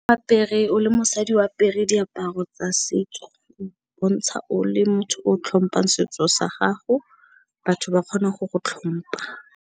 Apere oa le mosadi o apere diaparo tsa setso, o bontsha o le motho o tlhompang setso sa gago, batho ba kgona go go tlhompa.